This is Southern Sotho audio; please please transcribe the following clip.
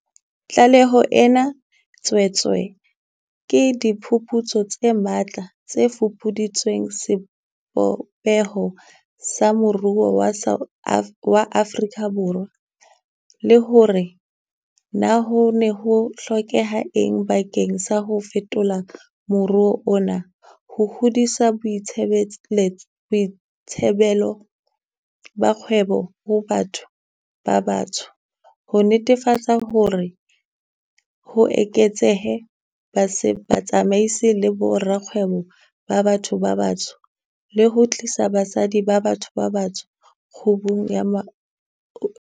Tlaleho ena e tswetswe ke diphuputso tse matla tse fupuditseng sebopeho sa moruo wa Afrika Borwa, le hore na ho ne ho hlokeha eng bakeng sa ho fetola moruo ona, ho hodisa boitsebelo ba kgwebo ho batho ba batsho, ho netefatsa hore ho eketsehe batsamaisi le borakgwebo ba batho ba batsho, le ho tlisa basadi ba batho ba batsho kgubung ya moruo.